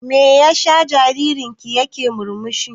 Me ya sa jaririn ki ya ke murmushi?